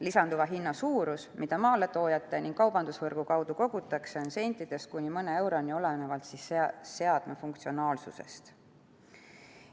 Lisanduva summa suurus, mida maaletoojate ja kaubandusvõrgu kaudu kogutakse, on sentidest kuni mõne euroni, olenevalt seadme funktsionaalsusest.